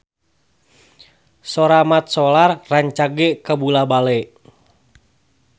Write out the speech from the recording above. Sora Mat Solar rancage kabula-bale